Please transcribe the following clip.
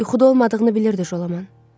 Yuxuda olmadığını bilirdi Jolaman.